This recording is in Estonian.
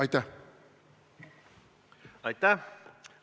Aitäh!